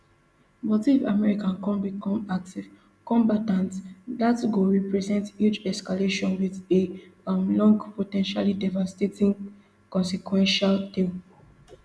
but if america kon become active combatant dat go represent huge escalation wit a um long po ten tially devastating consequential tail